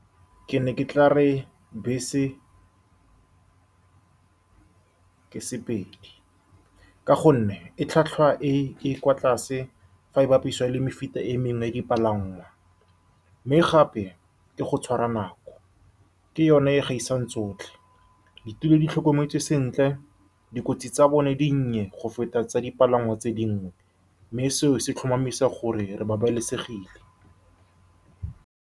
Ke ne ke tlare bese, ke sepedi ka gonne e tlhwatlhwa e e kwa tlase fa e bapisiwa le mefuta e mengwe ya dipalangwa, mme gape ke go tshwara nako ke yone e e gaisang tsotlhe. Ditulo di tlhokometswe sentle, dikotsi tsa bone di dinnye go feta tsa dipalangwa tse dingwe, mme seo se tlhomamisa gore re babalesegile.